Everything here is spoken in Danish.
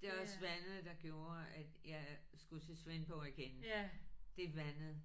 Det er også vandet der gjorde at jeg skulle til Svendborg igen det er vandet